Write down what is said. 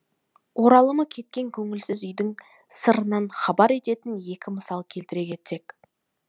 оралымы кеткен көңілсіз үйдің сырынан хабардар ететін екі мысал келтіре кетсек